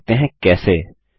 चलिए देखते हैं कैसे